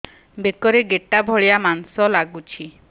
ବେକରେ ଗେଟା ଭଳିଆ ମାଂସ ଲାଗୁଚି